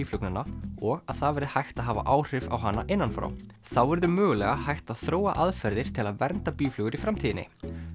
býflugnanna og að það verði hægt að hafa áhrif á hana innan frá þá verður mögulega hægt að þróa aðferðir til að vernda býflugur í framtíðinni